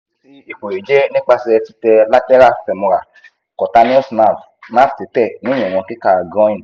esi ipo yi je nipase tite lateral femoral cutaneous nerve nerve tite ni iwon kika groin